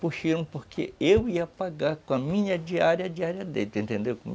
porque eu ia pagar com a minha diária, a diária deles, entendeu?